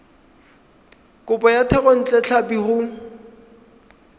kopo ya thekontle tlhapi go